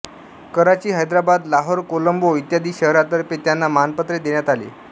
कराची हैदराबाद लाहोर कोलंबो इ शहरातर्फे त्यांना मानपत्रे देण्यात आली